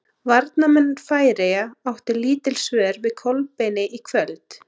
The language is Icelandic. Varnarmenn Færeyja áttu lítil svör við Kolbeini í kvöld.